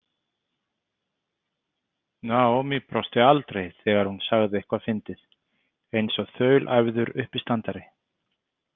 Naomi brosti aldrei þegar hún sagði eitthvað fyndið, eins og þaulæfður uppistandari.